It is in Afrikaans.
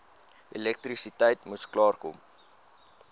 elektrisiteit moes klaarkom